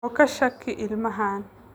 Oo ka shaki ilmahan